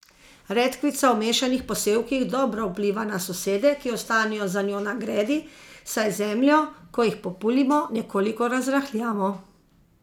Redkvica v mešanih posevkih dobro vpliva na sosede, ki ostanejo za njo na gredi, saj zemljo, ko jih populimo, nekoliko razrahljamo.